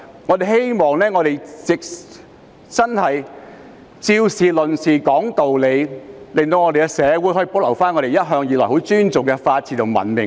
我希望我們以事論事，講道理，讓社會可以保留我們向來尊重的法治和文明。